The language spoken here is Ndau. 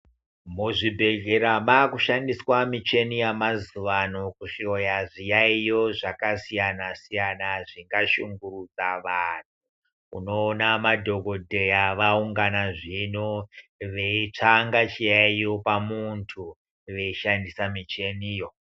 Muzvibhehlera makushandiswa michini yemazuwano kuhloya zviyaiyo zvakasiyana-siyana zvinoashungurudza vanhu. Unoona madhokodheya vaungana zvino veitsvanga chiyaiyo pamuntu veishandisa michiniyo.